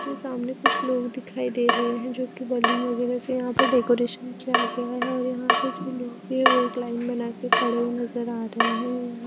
सामने कुछ लोग दिखाई दे रहे हैं जो कि बैलून वगैरह से यहां पर डेकोरेशन किया गया है और यहां पर जो लोग है वो एक लाइन बना के खड़े हुए नजर आ रहे हैं।